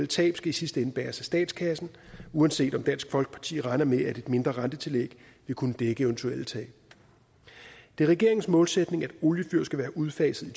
tab skal i sidste ende bæres af statskassen uanset om dansk folkeparti regner med at et mindre rentetillæg vil kunne dække eventuelle tab det er regeringens målsætning at oliefyr skal være udfaset i